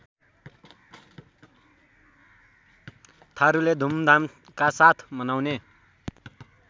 थारूले धुमधामकासाथ मनाउने